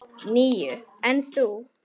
Níu, en þú?